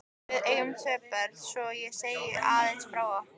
Við eigum tvö börn, svo ég segi aðeins frá okkur.